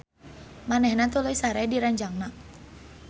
Manehna tuluy sare di ranjangna.